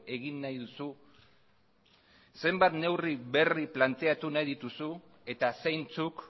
egin nahi duzu zenbat neurri berri planteatu nahi dituzu eta zeintzuk